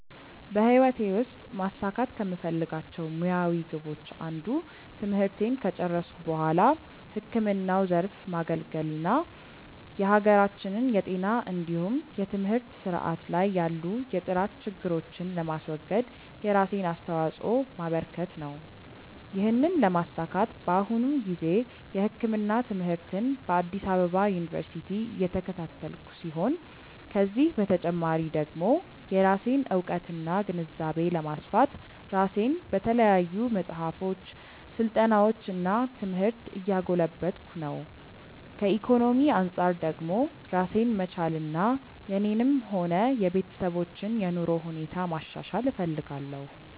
በህይወቴ ውስጥ ማሳካት ከምፈልጋቸው ሙያዊ ግቦች አንዱ ትምህርቴን ከጨረስኩ በኋላ ህክምናው ዘርፍ ማገልገል እና የሀገራችንን የጤና እንዲሁም የትምህርት ስርዓት ላይ ያሉ የጥራት ችግሮችን ለማስወገድ የራሴን አስተዋጾ ማበረከት ነው። ይህንን ለማሳካት በአሁኑ ጊዜ የህክምና ትምህርትን በአዲስ አበባ ዩኒቨርሲቲ እየተከታተልኩ ሲሆን ከዚህ በተጨማሪ ደግሞ የራሴን እውቀትና ግንዛቤ ለማስፋት ራሴን በተለያዩ መጽሐፎች፣ ስልጠናዎች እና ትምህርት እያጎለበትኩ ነው። ከኢኮኖሚ አንጻር ደግሞ ራሴን መቻልና የኔንም ሆነ የቤተሰቦችን የኑሮ ሁኔታ ማሻሻል እፈልጋለሁ።